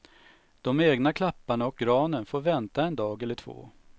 De egna klapparna och granen får vänta en dag eller två.